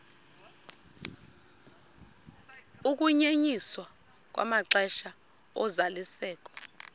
ukunyenyiswa kwamaxesha ozalisekiso